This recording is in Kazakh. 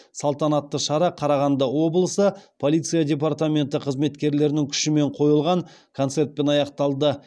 салтанаты шара қарағанды облысы полиция департаменті қызметкерлерінің күшімен қойылған концертпен аяқталды